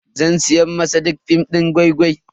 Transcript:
Zan siya wa sadiq film din gwai-gwai.